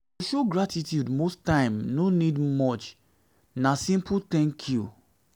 to show gratitude most times no need much na simple 'thank you'